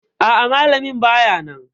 A'a, Malamin bayanan